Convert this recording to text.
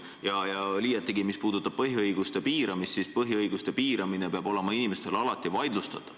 Mis puudutab põhiõiguste piiramist, siis põhiõiguste piiramist peavad inimesed alati saama vaidlustada.